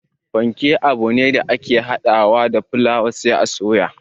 Panke abune da ake hada wa da fulaawa sai a soya